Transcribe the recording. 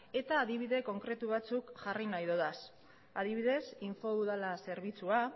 eta adibide konkretu batzuk jarri nahi ditut adibidez infoudala zerbitzua